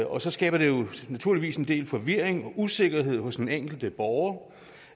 og så skaber det naturligvis en del forvirring og usikkerhed hos den enkelte borger